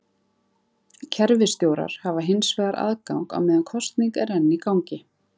Kerfisstjórar hafa hins vegar aðgang á meðan kosning er enn í gangi.